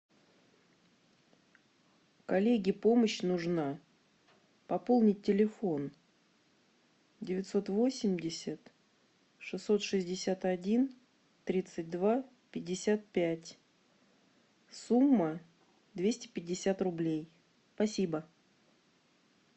коллеге помощь нужна пополнить телефон девятьсот восемьдесят шестьсот шестьдесят один тридцать два пятьдесят пять сумма двести пятьдесят рублей спасибо